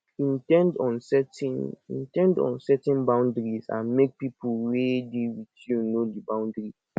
in ten d on setting in ten d on setting boundaries and make pipo wey dey with you know di bountry